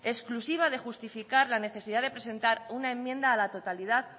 exclusiva de justificar la necesidad de presentar una enmienda a la totalidad